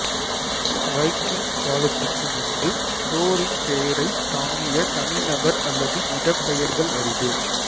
Viking காலத்துக்கு முன்பு தோரின் பெயரைத் தாங்கிய தனிநபர் அல்லது இடப் பெயர்கள் அரிது